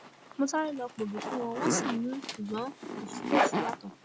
mo sáré lọọ pọ ògì fún wọn wọn sì mú un ṣùgbọn kò fi bẹẹ ṣíyàtọ